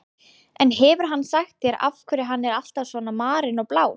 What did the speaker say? En hefur hann sagt þér af hverju hann er alltaf svona marinn og blár?